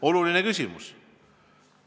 Oluline küsimus!